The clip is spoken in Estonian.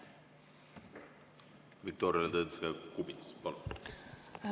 Viktoria Ladõnskaja-Kubits, palun!